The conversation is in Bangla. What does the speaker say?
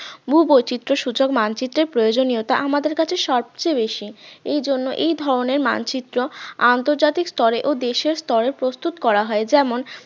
ভূবৈচিত্রসূচক মানচিত্রের প্রয়োজনীয়তা আমাদের কাছে সবচেয়ে বেশি এই জন্য এই ধরনের মানচিত্র আন্তর্জাতিক স্তরে ও দেশের স্তরে প্রস্তুত করা হয় যেমন